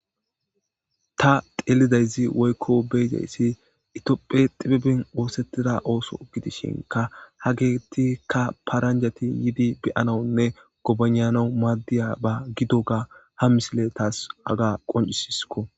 Ta xeelidayzi woykko beyzayssi itiophe xibibin woosettida ooso gidishinka ha geettikka paranjati yiidi beyanawunne gobananau maaddiya ba gido ga ha misile taas aga qoncisisko.